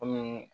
Kɔmi